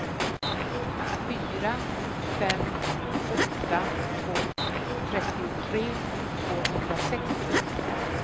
fyra fem åtta två trettiotre tvåhundrasextio